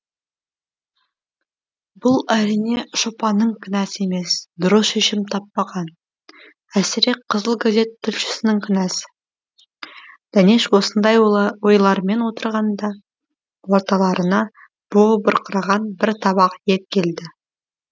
бұл әрине шопанның кінәсі емес дұрыс шешім таппаған әсіре қызыл газет тілшісінің кінәсі дәнеш осындай ойлармен отырғанда орталарына буы бұрқыраған бір табақ ет келді